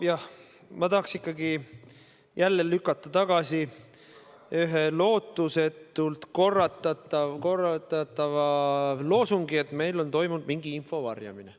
No ma tahaks ikkagi jälle lükata tagasi ühe lootusetult korratava loosungi, et meil on toimunud mingisugune info varjamine.